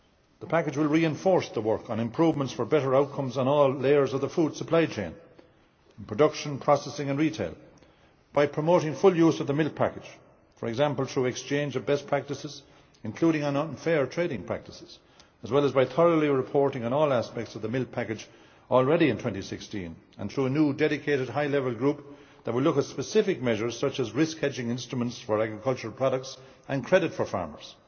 The package will reinforce the work on improvements for better outcomes at all layers of the food supply chain production, processing and retail by promoting full use of the milk package, for example through exchange of best practices, including on unfair trading practices, as well as by thoroughly reporting on all aspects of the milk package already in 2016 and through a new dedicated High Level Group that will look at specific measures such as risk hedging instruments for agricultural products and credit for farmers